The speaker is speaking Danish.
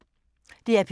DR P2